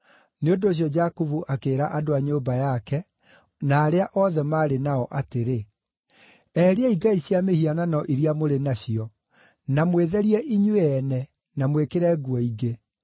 Nĩ ũndũ ũcio Jakubu akĩĩra andũ a nyũmba yake, na arĩa othe maarĩ nao, atĩrĩ, “Eheriai ngai cia mĩhianano iria mũrĩ nacio, na mwĩtherie inyuĩ ene, na mwĩkĩre nguo ingĩ.